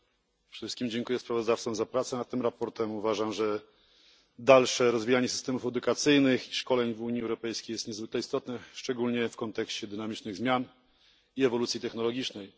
Przede wszystkim dziękuję sprawozdawcom za pracę nad tym sprawozdaniem. Uważam, że dalsze rozwijanie systemów edukacyjnych i szkoleń w Unii Europejskiej jest niezwykle istotne, szczególnie w kontekście dynamicznych zmian i ewolucji technologicznej.